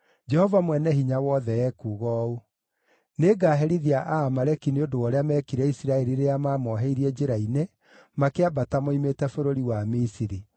Jehova Mwene-Hinya-Wothe ekuuga ũũ: ‘Nĩngaherithia Aamaleki nĩ ũndũ wa ũrĩa meekire Isiraeli rĩrĩa maamoheirie njĩra-inĩ makĩambata moimĩte bũrũri wa Misiri.